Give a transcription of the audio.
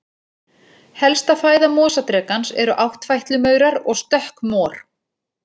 Helsta fæða mosadrekans eru áttfætlumaurar og stökkmor.